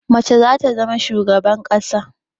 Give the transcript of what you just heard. Mace za ta zama shugaban ƙasa.